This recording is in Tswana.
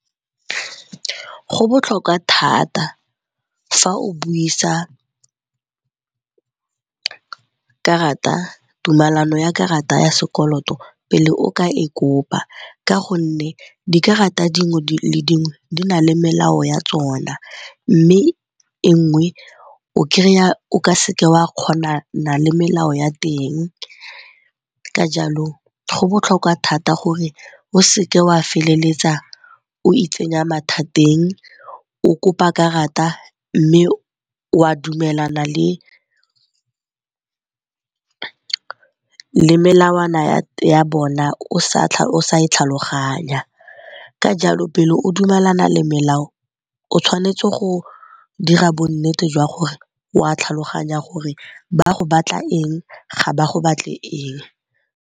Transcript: Go botlhokwa thata fa o buisa tumelano ya karata ya sekoloto pele o ka e kopa ka gonne dikarata dingwe le dingwe di na le melao ya tsona. Mme e nngwe o kry-a o ka seke wa kgonana le melao ya teng ka jalo go botlhokwa thata gore o seke wa feleletsa o itsenya mathateng o kopa karata mme wa dumelana le melawana ya bona o sa e tlhaloganya. Ka jalo pele o dumelana le melao o tshwanetse go dira bonnete jwa gore wa tlhaloganya gore ba go batla eng, ga ba go batle eng.